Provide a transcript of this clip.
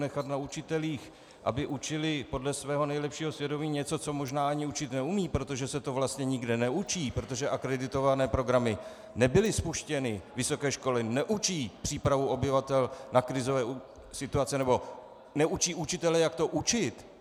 Nechat na učitelích, aby učili podle svého nejlepšího svědomí něco, co možná ani učit neumějí, protože se to vlastně nikde neučí, protože akreditované programy nebyly spuštěny, vysoké školy neučí přípravu obyvatel na krizové situace nebo neučí učitele, jak to učit...